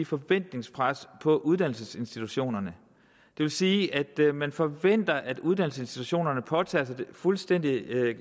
forventningspres på uddannelsesinstitutionerne det vil sige at man forventer at uddannelsesinstitutionerne påtager sig det fuldstændig